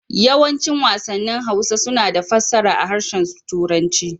Yawancin wasannin Hausa suna da fassarar a harshen Turanci.